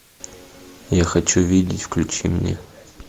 я хочу видеть включи мне